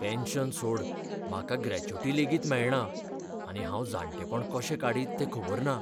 Pension सोड, म्हाका gratuity लेगीत मेळना आनी हांव जाणटेपण कशें काडीत तें खबर ना.